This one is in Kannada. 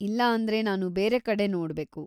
ಇಲ್ಲ ಅಂದ್ರೆ, ನಾನು ಬೇರೆ ಕಡೆ ನೋಡ್ಬೇಕು.